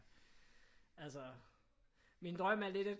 Altså min drøm er lidt at